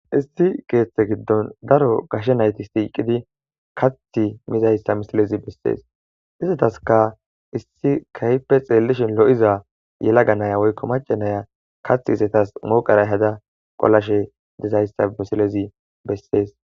Issi keetha gidon daro gashe nayti kathi mizaysa maxafezi beses, izetaska issi keehi xelishn lo'iza yelaga Naya woyko maca Naya kathi itas ehada qolizaysa hasi misilez beses